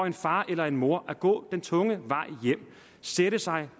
en far eller en mor at gå den tunge vej hjem sætte sig